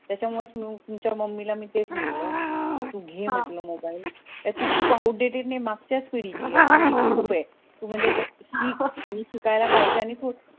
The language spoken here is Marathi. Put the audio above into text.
त्याच्या मुले च मग मी तुमच्या mummy ला मी तेच म्हटलं कि तू घे म्हटलं mobile काय तू updated नई मागच्या च पिढी ची ये असं नई कि तू म्हणजे शिक आणि शिकायला पाहिजे आणि